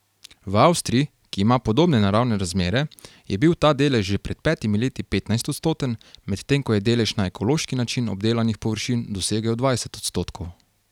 V Avstriji, ki ima podobne naravne razmere, je bil ta delež že pred petimi leti petnajstodstoten, medtem ko je delež na ekološki način obdelanih površin dosegel dvajset odstotkov.